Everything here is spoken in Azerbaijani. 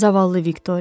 Zavallı Viktoriya.